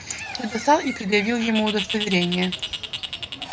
я достал и предъявил ему удостоверение